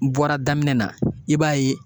N bɔra daminɛ na i b'a ye